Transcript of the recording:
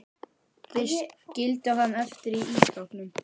Þeir skildu hann eftir í ísskápnum.